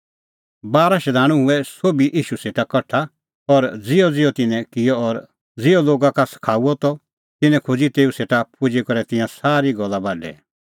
बारा शधाणूं हुऐ सोभ ईशू सेटा कठा और ज़िहअज़िहअ तिन्नैं किअ और ज़िहअ लोगा का सखाऊअ त तिन्नैं खोज़ी तेऊ सेटा पुजी करै तिंयां सारी गल्ला बाढै